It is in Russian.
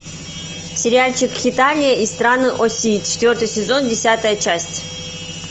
сериальчик хеталия и страны оси четвертый сезон десятая часть